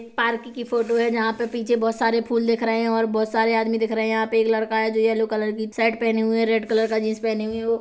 ये एक पार्क की फोटो हैं जहाँ पे पीछे बहुत सारे फूल दिख रखे है और बहुत सारे आदमी दिख रहे है यहाँ पे एक लड़का है जो येल्लो कलर की शर्ट पहने हुए है रेड कलर का जींस पहनीहुई है वो--